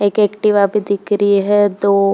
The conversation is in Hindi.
एक एक्टिवा भी दिख रही है। दो --